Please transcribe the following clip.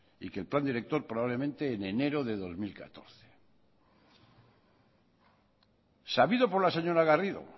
y que el plan director probablemente en enero de dos mil catorce sabido por la señora garrido